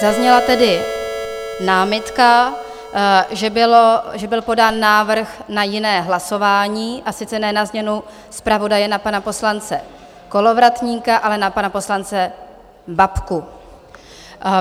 Zazněla tedy námitka, že byl podán návrh na jiné hlasování, a sice ne na změnu zpravodaje na pana poslance Kolovratníka, ale na pana poslance Babku.